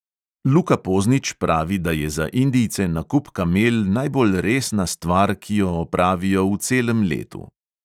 Luka poznič pravi, da je za indijce nakup kamel najbolj resna stvar, ki jo opravijo v celem letu.